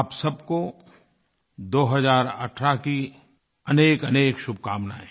आप सबको 2018 की अनेकअनेक शुभकामनाएँ